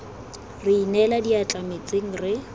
re inela diatla metsing re